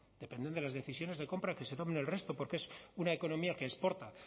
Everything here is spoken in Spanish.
dependen de las decisiones de compra que se tomen en el resto porque es una economía que exporta